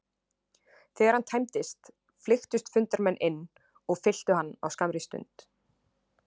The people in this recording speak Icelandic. Þegar hann tæmdist, flykktust fundarmenn inn og fylltu hann á skammri stund.